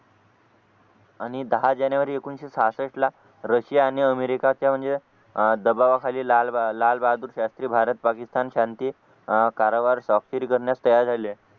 आणि दहा जानेवारी एकोणीशे सहासष्ठ ला रशिया आणि अमेरिका च्या म्हणजे अह दबावाखाली लालबहादूर शास्त्री भारत-पाकिस्तान शांती अह कारभार स्वाक्षरी करण्यास तयार झाले.